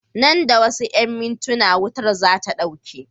Nan da wasu mintina wutar zata ɗauke